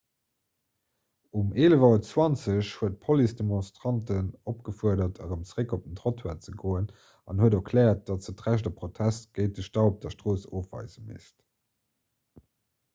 um 11.20 auer huet d'police d'demonstranten opgefuerdert erëm zeréck op den trottoir ze goen an huet erkläert datt se d'recht op protest géint de stau op der strooss ofweise misst